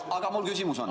Aga mul küsimus on.